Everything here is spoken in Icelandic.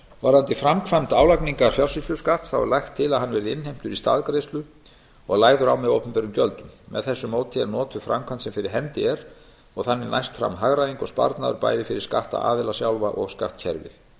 varðandi framkvæmd álagningar fjársýsluskatts er lagt til að hann verði innheimtur í staðgreiðslu og lagður á með opinberum gjöldum með þessu móti er notuð framkvæmd sem fyrir hendi er og þannig næst fram hagræðing og sparnaður bæði fyrir skattaðila sjálfa og skattkerfið